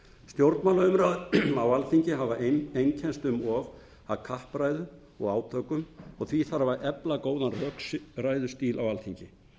það stjórnmálaumræður á alþingi hafa einkennst um of af kappræðum og átökum og því þarf að efla góðan rökræðustíl á alþingi